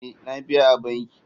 Ee, na biya a banki.